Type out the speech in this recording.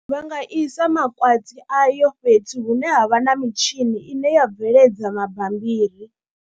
Vha nga isa makwati ayo fhethu hune ha vha na mitshini ine ya bveledza mabambiri.